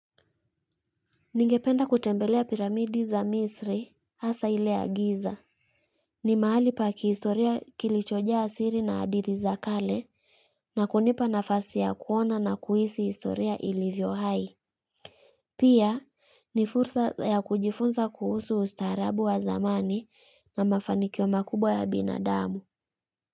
Ningependa kutembelea piramidi za misri asa ile ya giza. Ni mahali paki historia kilichojaa siri na adithi za kale na kunipa nafasi ya kuona na kuisi historia ilivyo hai. Pia ni fursa ya kujifunza kuhusu ustaarabu wa zamani na mafanikio makubwa ya binadamu.